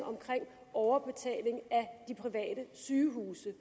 af overbetalingen af de private sygehuse